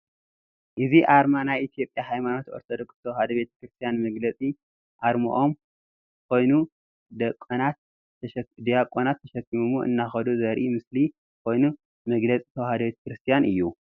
እዚ አርማ ናይ ኢትዮጵያ ሃይማኖት አርቶዶክስ ተዋህዶ ቤተ ክርስትያን መግለፂ አርሞኦም ኮይኑ። ደቋናት ተሽኪሞምዎ እናከዱ ዘርኢ ምስሊ ከይኑ መግለፅ ተዋህዶ ቤተ ክርስትያን እዩ።